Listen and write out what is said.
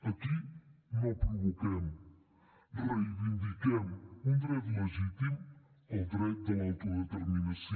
aquí no provoquem reivindiquem un dret legítim el dret de l’autodeterminació